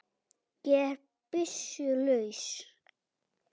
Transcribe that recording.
Ég er byssu laus.